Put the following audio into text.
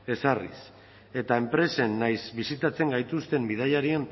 ezarriz eta enpresen nahiz bisitatzen gaituzten bidaiarien